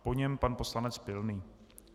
Po něm pan poslanec Pilný.